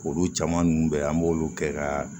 Olu caman ninnu bɛ an b'olu kɛ ka